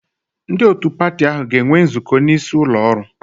Ndị otu patị ahụ ga-enwe nzukọ n'isi ụlọ oru